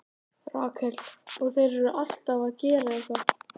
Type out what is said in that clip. Rakel: Og þeir eru alltaf að gera eitthvað.